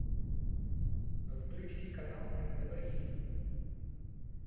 включить канал нтв хит